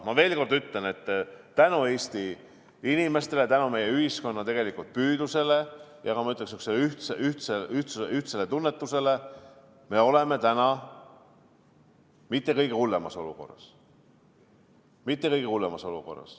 Ma ütlen veel kord, et tänu Eesti inimestele, tänu meie ühiskonna püüdlusele ja, ütleksin, ka ühtsele tunnetusele ei ole me täna mitte kõige hullemas olukorras.